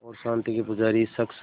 और शांति के पुजारी इस शख़्स